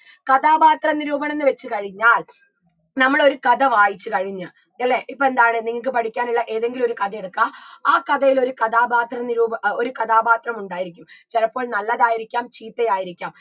കഥാപാത്ര നിരൂപണംന്ന് വെച്ച് കഴിഞ്ഞാൽ നമ്മളൊരു കഥ വായിച്ച് കഴിഞ്ഞ് അല്ലേ ഇപ്പെന്താണ് നിങ്ങക്ക് പഠിക്കാനുള്ള എതെങ്കിലും ഒരു കഥ എടുക്കുക ആ കഥയില് ഒരു കഥാപാത്ര നിരൂപ ഏർ ഒരു കഥാപാത്രമുണ്ടായിരിക്കും ചിലപ്പോൾ നല്ലതായിരിക്കാം ചീത്തയായിരിക്കാം